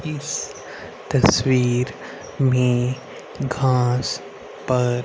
इस तस्वीर में घास पर--